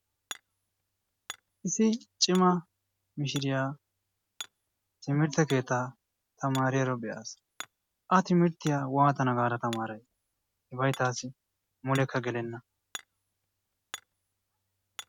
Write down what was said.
Issi cimma mishiriya timmirte keetaa tamaaariyaro be'as. A timirttiya waatana gaada tamaaray? ibbay taasi mulekka gelenna.